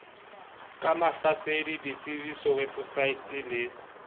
ka mahlasedi detsebiso weposaete le